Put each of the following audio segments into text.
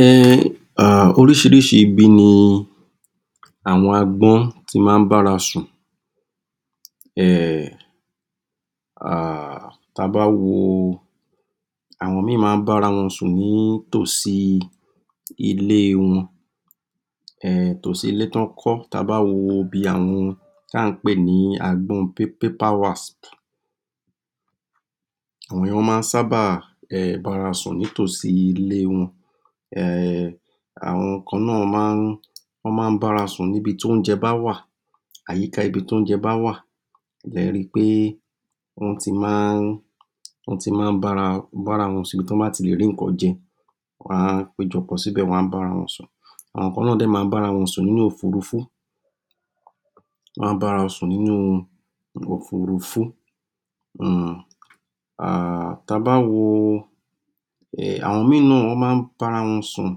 um um oríṣiríṣi ibi ni àwọn agbọ́n ti máa ń bárawọn sùn um um ta bá wo àwọn ìmí máa ń bárawọn sùn ní tòsí ilé wọn um tòsí ilé tí wọ́n kọ tabá wo ibi àwọn tá ǹ pè ní agbọ́n [pa paper wasp] àwọn ìyẹn, wọ́n máa n sábà bára sùn nítòsí ilé wọn um àwọn kan náà máa ń wọ́n máa ń bára sùn ní bi tí oúnjẹ bá wà àyíká ibi tí oúnjẹ bá wà lẹri pé wọ́n ti máa ń wọ́n ti máa ń bára bára wọn sùn, ibi tí wọ́n bá ti lè rí nǹkan jẹ wọ́n á pejọpọ̀ síbẹ̀, wọ́n á bára wọn sùn àwọn kan náà má ń bára wọn sùn nínú òfurufú wọ́n á bára wọn sùn nínú òfurufú um um ta bá wo um àwọn ìmí náà má ń bárawọn sùn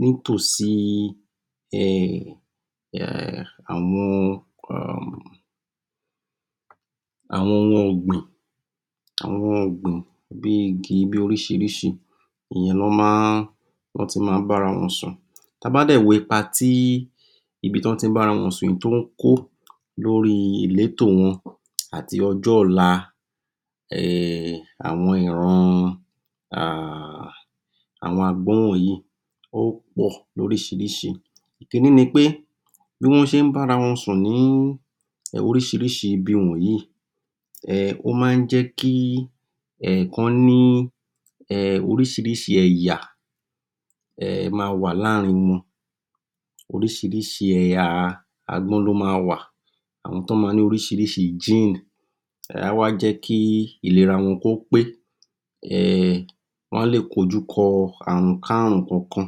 nítòsí um um àwọn um àwọn ohun ọ̀gbìn àwọn ọ̀gbìn bí igi bí oríṣiríṣi ìyẹn lọ́ máa ń wọ́n tí má ń bárawọn sùn ta bá dẹ̀ wo ipa tí ibi tí wọ́n tí ń bárawọn sùn tó ń kó lóri ìlétò wọn àti ọjọ́-ọ̀la um àwọn ìran um àwọn agbọ́n wọnyìí ó pọ̀ lóríṣiríṣi ìkínní ni pé bí wọ́n ṣé ń bárawọn sùn ní oríṣiríṣi ibi wọnyìí um ó má ń jẹ́ kí um kán ní um oríṣiríṣi ẹ̀yà um má a wà láààrín wọn oríṣiríṣi ẹ̀yà agbọ́n ló ma wà àwọn tán máa ń ní oríṣiríṣi [gene] á wá jẹ́ kí ìlera wọn kó pé um wọ́n á lè kojúkọ àrun-ká-rùn kan kan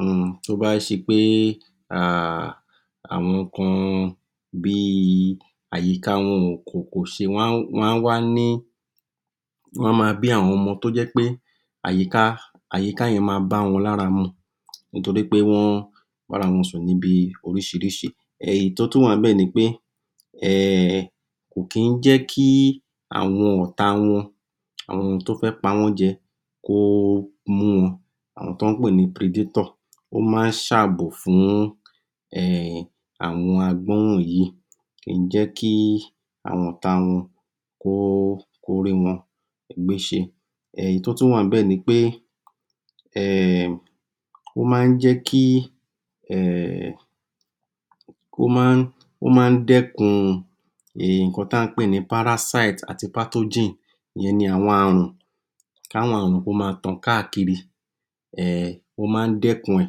um tó bá ṣe pé um àwọn kan bí i àyíká wọn ò kò kò ṣe máa ń wá ní wọ́n ma bí àwọn ọmọ tó jẹ́ pé àyíká àyíká yẹn máa ń bá wọn lára mu nítorípé wọ́n bárawọn sùn níbi oríṣiríṣi èyí tó tún wà níbẹ̀ ni pé um kò kí ń jẹ́ kí àwọn ọ̀tá wọn àwọn tó fẹ́ pa wọ́n jẹ kó mu àwọn tọ́ ń pè ní [predator] ó máa ń ṣàbò fún um àwọn agbọ́n wọnyìí kìí jẹ́ kí àwọn ọ̀tá wọn kó rí wọn gbéṣe um èyí tó tún wà níbẹ̀ ni pé um ó máa ń jẹ́ kí um ó máa ń, ó máa ń dẹ́kun um nǹkan tí à ń pè ní [parasite] àti [pathogen] ìyẹn ni àwọn àrùn ká wọn àrùn kó ma tàn káàkiri um ó máa ń dẹ́kun ẹ̀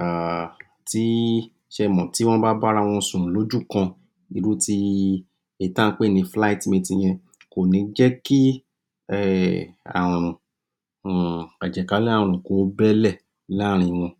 um tí í, ṣẹmọ̀, tí wọ́n bá bárawọn sùn lójú kan irú ti èyí tí à ń pè ní [flight mating] yẹn kò ní jẹ́ kí um um àjẹ̀kálẹ̀-àrùn kó bẹ́ lẹ̀ láààrín wọn.